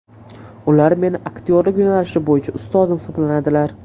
Ular meni aktyorlik yo‘nalishi bo‘yicha ustozim hisoblanadilar.